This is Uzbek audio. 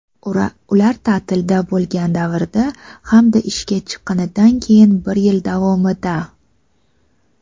ular taʼtilda bo‘lgan davrda hamda ishga chiqqanidan keyin bir yil davomida;.